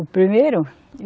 O primeiro?